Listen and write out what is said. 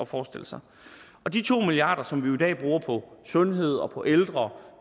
forestille sig de to milliard kr som vi i dag bruger på sundhed og på ældre